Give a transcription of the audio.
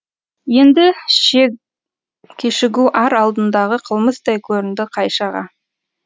енді кешігу ар алдындағы қылмыстай көрінді қайшаға